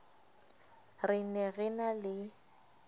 re ne re na le